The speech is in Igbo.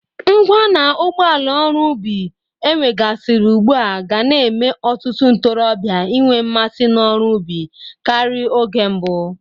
Ngwa na ụgbọala ọrụ ubi ewegasịrị ugbu a ga na-eme ọtụtụ ntorọbịa inwe mmasị n'ọrụ ubi karị oge mbụ.